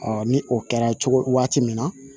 ni o kɛra cogo waati min na